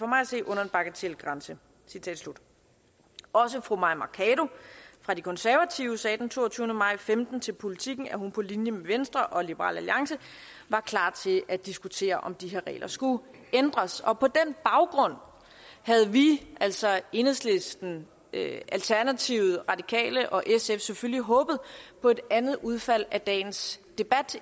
at se under en bagatelgrænse fru mai mercado fra de konservative sagde den toogtyvende maj og femten til politiken at hun på linje med venstre og liberal alliance var klar til at diskutere om de her regler skulle ændres på den baggrund havde vi altså enhedslisten alternativet radikale og sf selvfølgelig håbet på et andet udfald af dagens debat